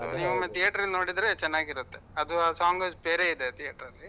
ನೀವು theater ಅಲ್ಲಿ ನೋಡಿದ್ರೆ ಚೆನ್ನಾಗಿರುತ್ತೆ ಅದು ಆ song ಬೇರೆಯೆ ಇದೆ theater ಅಲ್ಲಿ